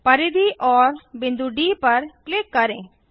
परिधि और बिंदु डी पर क्लिक करें